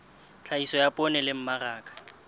tlhahiso ya poone le mmaraka